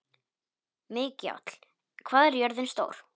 Mikjáll, hvað er jörðin stór?